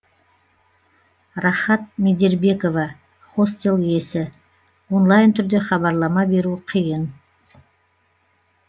рахат медербекова хостел иесі онлайн түрде хабарлама беру қиын